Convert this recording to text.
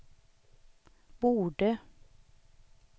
borde